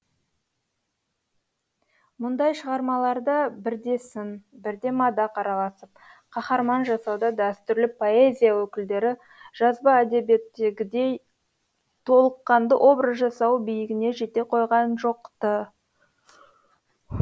мұндай шығармаларда бірде сын бірде мадақ араласып қаһарман жасауда дәстүрлі поэзия өкілдері жазба әдебиеттегідей толыққанды образ жасау биігіне жете қойған жоқ ты